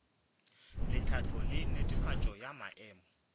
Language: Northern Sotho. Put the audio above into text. tlhahlo le netefatšo ya maemo